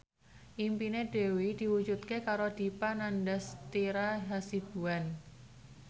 impine Dewi diwujudke karo Dipa Nandastyra Hasibuan